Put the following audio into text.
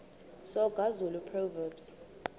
soga zulu proverbs